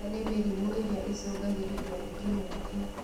ĩno nĩ mĩrimũ ĩrĩa ĩcũngagĩrĩrio nĩ kĩng'uki